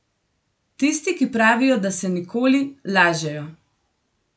Tisti, ki pravijo, da se nikoli, lažejo.